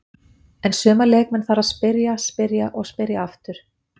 En suma leikmenn þarf að spyrja, spyrja og spyrja aftur.